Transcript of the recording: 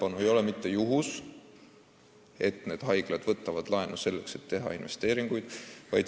See ei ole mitte juhus, et haiglad võtavad laenu, et teha investeeringuid.